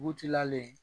Butiki la le